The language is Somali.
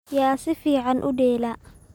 Yaa si fiican u dheela?